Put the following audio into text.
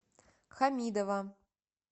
хамидова